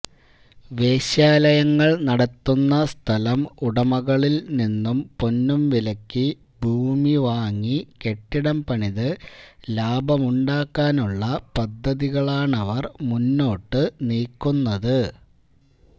വേശ്യാലയങ്ങള് നടത്തുന്ന സ്ഥലം ഉടമകളില്നിന്നും പൊന്നും വിലയ്ക്ക് ഭൂമി വാങ്ങി കെട്ടിടം പണിത് ലാഭമുണ്ടാക്കാനുള്ള പദ്ധതികളാണവര് മുന്നോട്ടുനീക്കുന്നത്